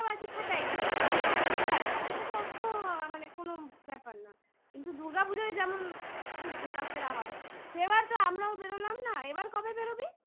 ফাটাই না ঠিক আছে আমার কাছে অত মানে কোনো ব্যাপার না কিন্তু দুর্গাপুজোয় যেমন খুব ঘোরাফেরা হয় সেবার তো আমরাও বেরোলাম না এবার কবে বেরোবি?